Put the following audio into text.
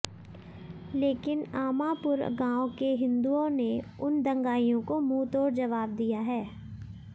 लेकिन अमांपुर गाँव के हिंदुओ ने उन दंगाइयो को मुँहतोड़ जवाब दिया है